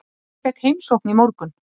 Ég fékk heimsókn í morgun.